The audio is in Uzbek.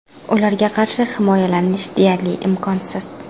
Ularga qarshi himoyalanish deyarli imkonsiz.